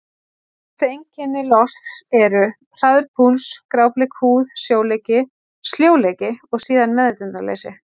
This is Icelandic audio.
Helstu einkenni losts eru: hraður púls, grábleik húð, sljóleiki og síðan meðvitundarleysi.